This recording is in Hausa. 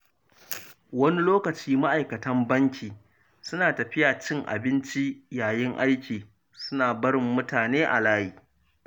Wani lokaci ma’aikatan banki suna tafiya cin abinci yayin aiki, suna barin mutane a layi.